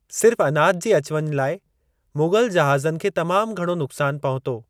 सिर्फ अनाज जी अचु वञु लाइ मुग़ल जहाज़नि खे तमाम घणो नुक़्सान पहुतो।